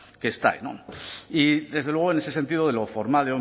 que está ahí y desde luego en ese sentido de lo formal